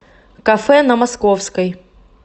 кафе на московской